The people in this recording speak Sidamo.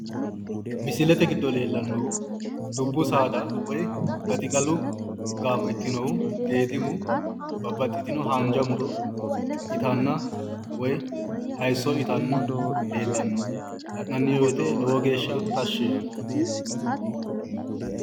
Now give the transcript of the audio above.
misilete giddo leellannohu dubbu saada woyi gaxigalu gaamo ikkinohu geedimu babaxitino haanja muro itanna woyi haayiiso itanna leellanno. la'nanni wote lowo geeshsha tashshi yaanno.